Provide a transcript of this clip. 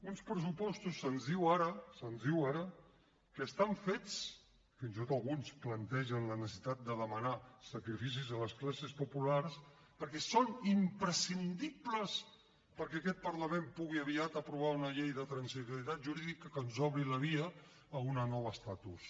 uns pressupostos se’ns diu ara se’ns diu ara que estan fets fins i tot alguns plantegen la necessitat de demanar sacrificis a les classes populars perquè són imprescindibles perquè aquest parlament pugui aviat aprovar una llei de transitorietat jurídica que ens obri la via a un nou estatus